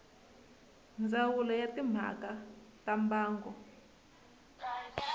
ndzawulo ya timhaka ta mbango